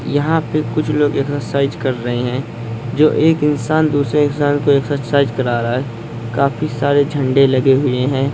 यहाँ पर कुछ लोग एक्सरसाइज कर रहे हैंजो एक इंसान दूसरे इंसान को एक्सरसाइज करा रहा है काफी सारे झंडे लगे हुए हैं।